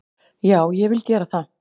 Já, ég vil gera það.